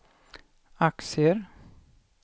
aktier